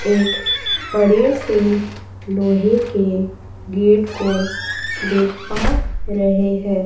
एक बड़े से लोहे के गेट को देख पा रहे हैं।